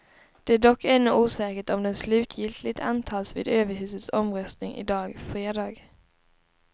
Det är dock ännu osäkert om den slutgiltigt antas vid överhusets omröstning i dag fredag.